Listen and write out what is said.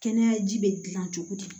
Kɛnɛya ji bɛ gilan cogo di